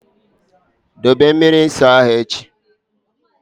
Dobe mmiri nsọ ahụ echi!